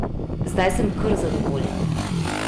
Zdaj sem kar zadovoljen.